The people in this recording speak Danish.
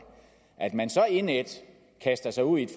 at man så indædt kaster sig ud i et